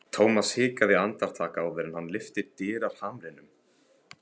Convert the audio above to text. Thomas hikaði andartak áður en hann lyfti dyrahamrinum.